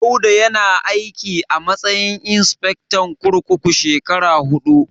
Dauda yana aiki a matsayin insifectan kurkuku shekara huɗu.